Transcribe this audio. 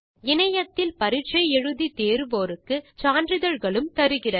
இணையத்தில் பரிட்சை எழுதி தேர்வோருக்கு சான்றிதழ்களும் தருகிறது